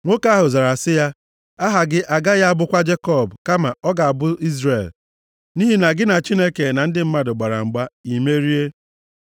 Nwoke ahụ zara sị ya, “Aha gị agaghị abụkwa Jekọb, kama ọ ga-abụ Izrel, nʼihi na gị na Chineke na ndị mmadụ gbara mgba, ị mmeri.”